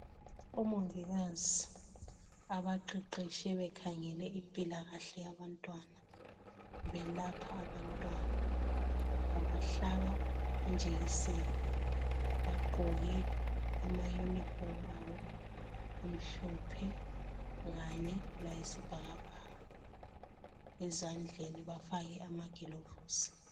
Omongikazi abaqeqetshe bekhangele impilakahle yabantwana belapha abantwana. Babahlaba injekiseni. Bagqoke amayunifomu abo amhlophe kanye layisibhakabhaka. Ezandleni bafake amagilovisi